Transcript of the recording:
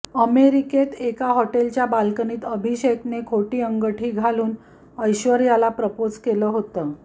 अमेरिकेत एका हॉटेलच्या बाल्कनीत अभिषेकने खोटी अंगठी घालून ऐश्वर्याला प्रपोज केलं होतं